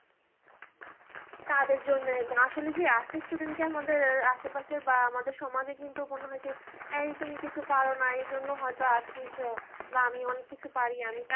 তাদের জন্য আসলে কি arts এর student কে আমাদের আশে-পাশে বা আমাদের সমাজে কিন্তু কি হয়েছে, এই তুমি কিছু পারো না, এই জন্য হয়তো আপনি বা আমি অনেক কিছু পারি